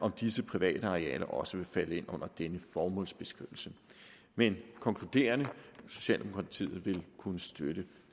om disse private arealer også vil falde ind under denne formålsbeskrivelse men konkluderende socialdemokratiet vil kunne støtte